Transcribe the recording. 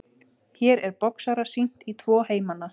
Hér er boxara sýnt í tvo heimana.